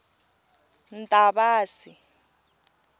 ntavasi